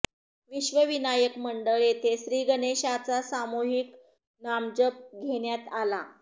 विश्व विनायक मंडळ येथे श्री गणेशाचा सामूहिक नामजप घेण्यात आला